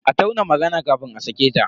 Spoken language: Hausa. A tauna magana kafin a sake ta.